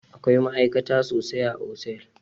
Akwai ma'aikata sosai a otel